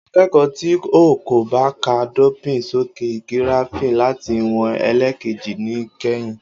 Akeko ti o ko ba ka, dopin soke giraffing lati wọn elekeji ni kẹhìn